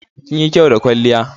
Kinyi kyau da kwalliya.